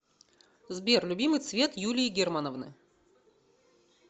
сбер любимый цвет юлии германовны